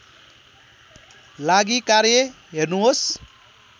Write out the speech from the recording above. लागि कार्य हेर्नुहोस्